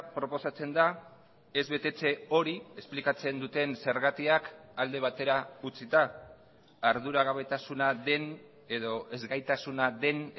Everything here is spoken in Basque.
proposatzen da ez betetze hori esplikatzen duten zergatiak alde batera utzita arduragabetasuna den edo ezgaitasuna den